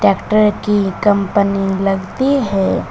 Tractor की company लगती है।